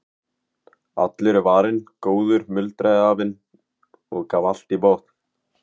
Allur er varinn góður muldraði afinn og gaf allt í botn.